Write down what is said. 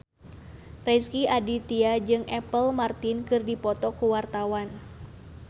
Rezky Aditya jeung Apple Martin keur dipoto ku wartawan